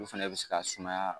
Olu fana bɛ se ka sumaya.